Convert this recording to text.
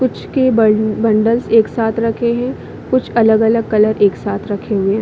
कुछ के बन बंडल्स एक साथ रखे है कुछ अलग-अलग कलर एक साथ रखे हुए है।